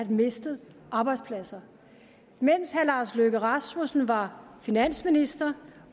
mister arbejdspladser mens herre lars løkke rasmussen var finansminister